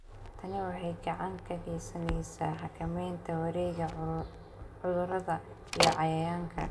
Tani waxay gacan ka geysaneysaa xakameynta wareegga cudurrada iyo cayayaanka.